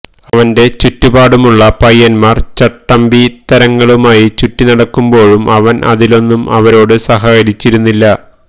അവന്റെ ചുറ്റുപാടുമുള്ള പയ്യന്മാര് ചട്ടമ്പിത്തരങ്ങളുമായി ചുറ്റിനടക്കുമ്പോഴും അവന് അതിലൊന്നിലും അവരോട് സഹകരിച്ചിരുന്നില്ല